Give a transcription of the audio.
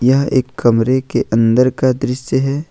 यह एक कमरे के अंदर का दृश्य है।